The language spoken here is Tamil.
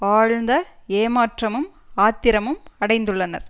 ஆழ்ந்த ஏமாற்றமும் ஆத்திரமும் அடைந்துள்ளனர்